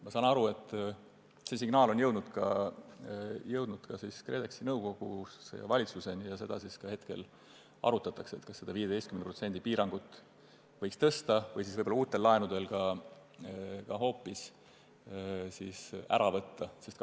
Ma saan aru, et see signaal on ka KredExi nõukogust valitsuseni jõudnud ja hetkel arutatakse, kas seda 15% piirangut võiks tõsta või uute laenude puhul hoopis ära jätta.